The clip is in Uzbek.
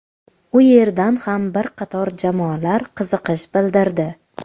U yerdan ham bir qator jamoalar qiziqish bildirdi.